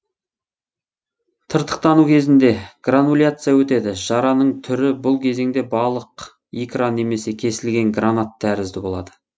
тыртықтану кезінде грануляция өтеді жараның түрі бұл кезеңде балық икра немесе кесілген гранат тәрізді болады